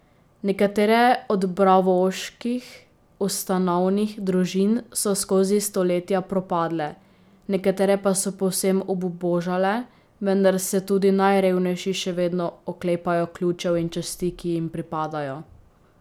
Nekatere od braavoških ustanovnih družin so skozi stoletja propadle, nekatere pa so povsem obubožale, vendar se tudi najrevnejši še vedno oklepajo ključev in časti, ki jim pripadajo.